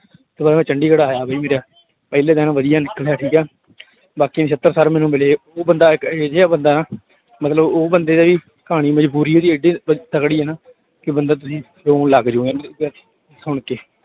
ਚੰਡੀਗੜ੍ਹ ਆਇਆ ਵੀ ਫਿਰ, ਪਹਿਲੇ ਦਿਨ ਵਧੀਆ ਨਿਕਲਿਆ ਠੀਕ ਹੈ ਬਾਕੀ ਨਛੱਤਰ ਸਰ ਮੈਨੂੰ ਮਿਲੇ, ਉਹ ਬੰਦਾ ਇੱਕ ਇਹ ਜਿਹਾ ਬੰਦਾ ਮਤਲਬ ਉਹ ਬੰਦੇ ਦੀ ਕਹਾਣੀ ਮਜ਼ਬੂਰੀ ਉਹਦੀ ਇੱਡੀ ਤਕੜੀ ਹੈ ਨਾ ਕਿ ਬੰਦਾ ਤੁਸੀਂ ਰੌਣ ਲੱਗ ਜਾਓਗੇ ਸੁਣਕੇ।